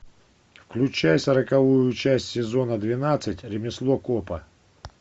включай сороковую часть сезона двенадцать ремесло копа